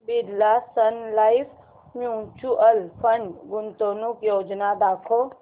Birla Sun Life mutual fund गुंतवणूक योजना दाखव